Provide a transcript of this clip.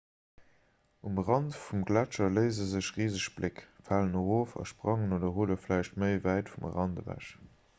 um rand vum gletscher léise sech riseg bléck falen erof a sprangen oder rulle vläicht méi wäit vum rand ewech